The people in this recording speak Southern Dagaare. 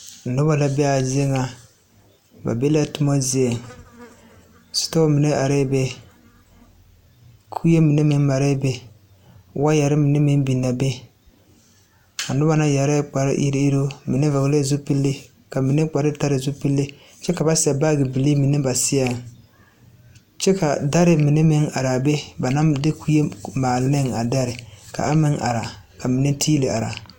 Noba la bee a zie ŋa ba be la toma zieŋ store mine arɛɛ be kue mine meŋ marɛɛ be wɔɔyɛre mine meŋ biŋe be a noba na yɛrɛɛ kpar iruŋ iruŋ mine vɔglɛɛ zupile ka mine kpar taa zupile kyɛ ka ba seɛ baagi bilii mine ba seɛŋ kyɛ ka dari mine meŋ are a be ba naŋ de kue maali neŋ a dari ka mine tiili ari.